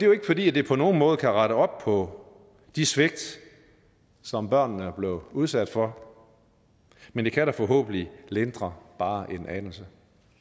jo ikke fordi det på nogen måde kan rette op på de svigt som børnene er blevet udsat for men det kan da forhåbentlig lindre bare en anelse